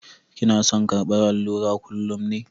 Kina son karɓar allura kullum ne?